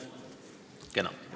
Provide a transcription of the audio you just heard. Kena.